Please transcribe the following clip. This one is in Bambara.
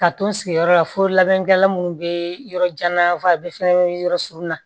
Ka to n sigiyɔrɔ la fo labɛnkɛlan minnu bɛ yɔrɔ jan na fɛnɛ bɛ yɔrɔ surunya